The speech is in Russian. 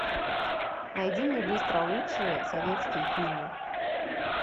найди мне быстро лучшие советские фильмы